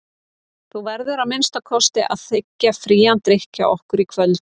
Þú verður að minnsta kosti að þiggja frían drykk hjá okkur í kvöld.